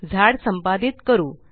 झाड संपादीत करू